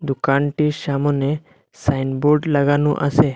দোকানটির সামোনে সাইনবোর্ড লাগানো আসে।